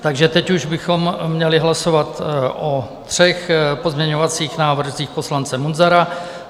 Takže teď už bychom měli hlasovat o třech pozměňovacích návrzích poslance Munzara.